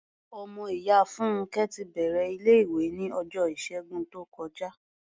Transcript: Ọmọ ìyá Fúnnkẹ́ ti bẹ̀rẹ̀ ilé-ìwé ní ọjọ́ Ìṣẹ́gun tó kọjá.